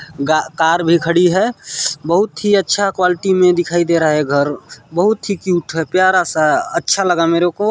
--का-कार भी खड़ी है बहुत ही अच्छा क्वालिटी में दिखाई दे रहा है घर बहुत ही क्यूट है प्यारा सा अच्छा लगा मेरे को।